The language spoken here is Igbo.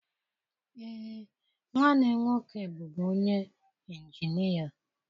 Ee, nwanne m nwoke bụbu onye ịnjinịa.